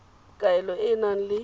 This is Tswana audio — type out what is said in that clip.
kaelo e e nang le